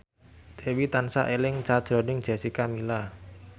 Dewi tansah eling sakjroning Jessica Milla